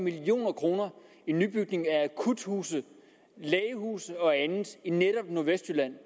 million kroner i nybygning af akuthuse lægehuse og andet i netop nordvestjylland